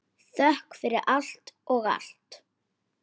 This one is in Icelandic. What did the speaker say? Þökk fyrir allt og allt.